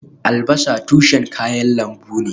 Albasa tushen kayan lambu ne